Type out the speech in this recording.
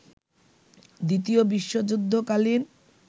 দ্বিতীয় বিশ্বযুদ্ধ কালীন